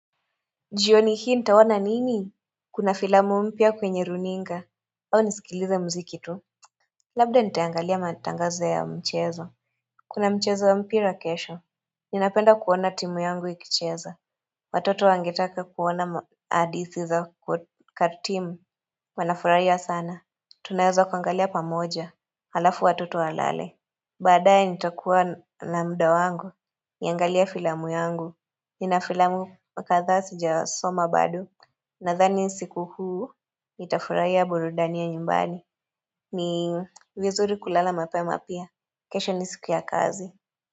Jioni hii nitaona nini? Kuna filamu mpya kwenye runinga au nisikilize mziki tu Labda nitaangalia matangazo ya mchezo Kuna mchezo wa mpira kesho Ninapenda kuona timu yangu ikicheza Watoto wangetaka kuona hadithi za katimu Wanafurahii sana. Tunaweza kuangalia pamoja halafu watoto walale Badaae nitakua na muda wangu Niangalie filamu yangu. Nina filamu kadhaa sijasoma bado nadhani siku huu nitafurahia burudani ya nyumbani ni vizuri kulala mapema pia kesho ni siku ya kazi.